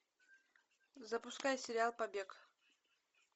запускай сериал побег